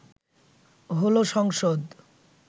হলো সংসদ